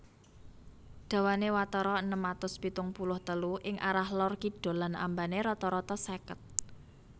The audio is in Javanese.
Dawané watara enem atus pitung puluh telu ing arah Lor Kidul lan ambané rata rata seket